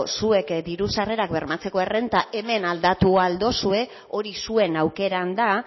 zuek diru sarrerak bermatzeko errentak hemen aldatu al duzue hori zuen aukeran da